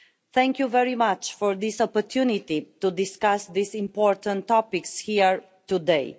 Thank you very much for this opportunity to discuss these important topics here today.